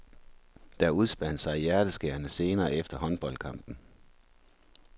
Der udspandt sig hjerteskærende scener efter håndboldkampen.